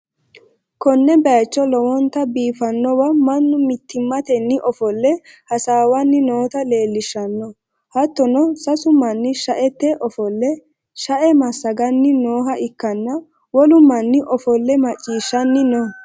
konne bayicho lowonta biifannowa mannu mittimmatenni ofolle hasaawanni noota leellishshanno, hattono, sasu manni sha'ete ofolle sha'e massaganni nooha ikkanna, wolu manni ofolle macciishshanni no.